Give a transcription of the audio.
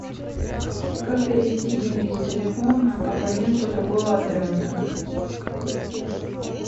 как перевести деньги с телефона абоненту другого оператора